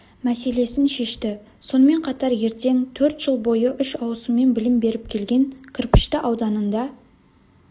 мәселесін шешті сонымен қатар ертең төрт жыл бойы үш ауысыммен білім беріп келген кірпішті ауданында